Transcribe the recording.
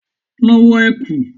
Lọ wọ ẹ̀kú!